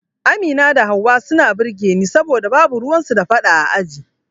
Amina da Hauwa suna burge ni saboda babu ruwan su da fada a aji